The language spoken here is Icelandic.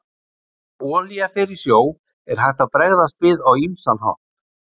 Þegar olía fer í sjó er hægt að bregðast við á ýmsan hátt.